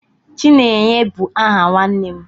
Chinenye bu aha nwannem